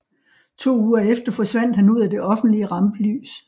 To uger efter forsvandt han ud af det offentlige rampelys